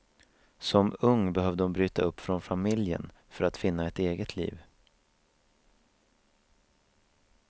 Som ung behövde hon bryta upp från familjen för att finna ett eget liv.